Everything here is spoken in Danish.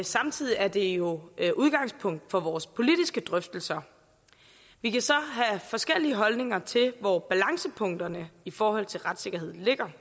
samtidig er det jo et udgangspunkt for vores politiske drøftelser vi kan så have forskellige holdninger til hvor balancepunktet i forhold til retssikkerheden ligger